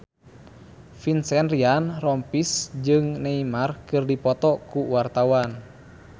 Vincent Ryan Rompies jeung Neymar keur dipoto ku wartawan